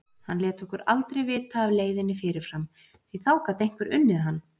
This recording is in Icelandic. Hann lét okkur aldrei vita af leiðinni fyrirfram, því þá gat einhver unnið hann!